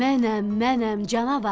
Mənəm, mənəm canavar.